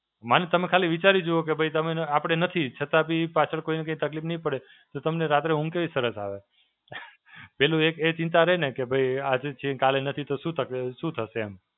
મન તમે ખાલી વિચારી જુઓ કે ભઇ તમે, આપડે નથી. છતાં બી પાછળ કોઈને તકલીફ તો રાત્રે ઊંઘ કેવી સરસ આવે. પેલું એક એ ચિંતા રહે ને કે ભઇ આજે છે, કાલે નથી. તો શું તક, શું થશે? એમ.